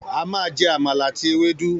A máa jẹ Amala àti Ewédú.